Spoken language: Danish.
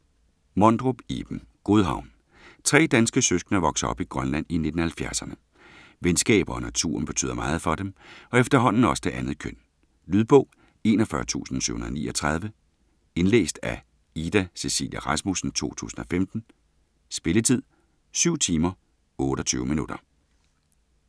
Mondrup, Iben: Godhavn Tre danske søskende vokser op i Grønland i 1970'erne. Venskaber og naturen betyder meget for dem, og efterhånden også det andet køn. Lydbog 41739 Indlæst af Ida Cecilia Rasmussen, 2015. Spilletid: 7 timer, 28 minutter.